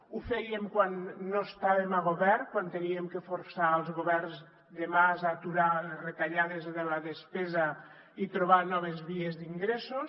ho fèiem quan no estàvem a govern quan havíem de forçar els governs de mas a aturar les retallades de la despesa i trobar noves vies d’ingressos